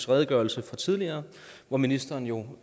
redegørelse fra tidligere hvor ministeren jo